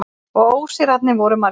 Og ósigrarnir voru margir.